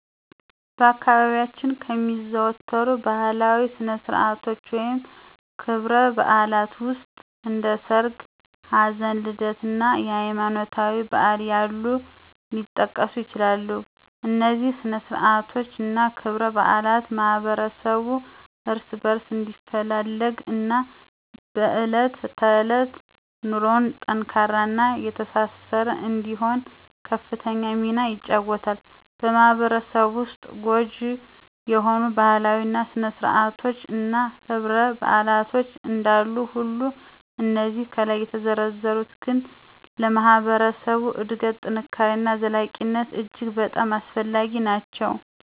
በአካባቢያችን ከሚዘወተሩ ባህላዊ ስነ-ስርዓቶች ወይም ክብረ-በዓላት ዉስጥ እንደ ሠርግ፣ ሀዘን፣ ልደት እና ሀይማኖታዊ በዓላት ያሉት ሊጠቀሱ ይችላሉ፤ እነዚህ ስነ-ስርዓቶች እና ክብረ-በዓላት ማህበረሠቡ እርስ በእርስ እንዲፈላለግ እና በእለት ተዕለት ኑሮው ጠንካራ እና የተሳሰረ እንዲሆን ከፍተኛ ሚና ይጫወተሉ። በማህበረሰቡ ዉስጥ ጐጂ የሆኑ ባህላዊ ስነ- ስርአቶች እና ክብረ -በዓላት እንዳሉ ሁሉ እነዚህ ከላይ የተዘረዘሩት ግን ለማህበረሰብ እድገት፣ ጥንካሬ እና ዘላቂነት እጅግ በጣም አስፈላጊ ናቸው።